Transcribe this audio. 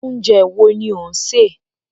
Oúnjẹ wo ni ó ń ṣe?